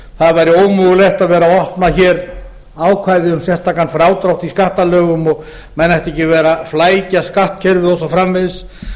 það væri ómögulegt að vera að opna sérstakan frádrátt í skattalögum og menn ættu ekki að vera að flækja skattkerfið og svo framvegis